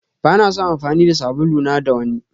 Bana son amfani da sabulu na da wanni.